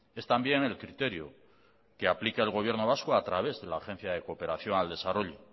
es también el criterio que aplica el gobierno vasco a través de la agencia de cooperación al desarrollo